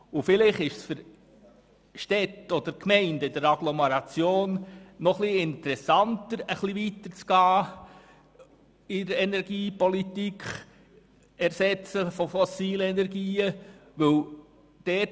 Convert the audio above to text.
Vielleicht ist es für Städte oder für Gemeinden in der Agglomeration ein bisschen interessanter, innerhalb der Energiepolitik im Hinblick auf den Ersatz fossiler Energien etwas weiterzugehen.